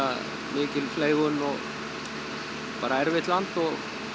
mikil fleygun og bara erfitt land og